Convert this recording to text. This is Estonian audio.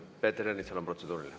Peeter Ernitsal on protseduuriline.